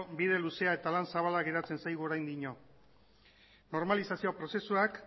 bide luzea eta lan zabala geratzen zaigu oraindik normalizazio prozesuak